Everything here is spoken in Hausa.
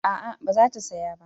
A'a ba za ta saya ba